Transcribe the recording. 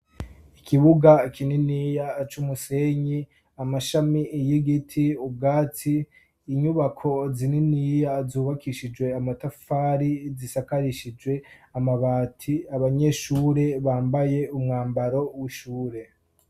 Ikibuga ikininiya c'umusenyi amashami iyigiti, ubwatsi inyubako zininiya zubakishijwe amatafari zisakarishijwe amabati, abanyeshure bambaye umwambaro w'ishure.